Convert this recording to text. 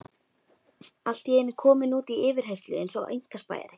Allt í einu kominn út í yfirheyrslu eins og einkaspæjari.